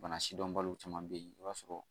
Bana sidɔnbaliw caman bɛ yen i b'a sɔrɔ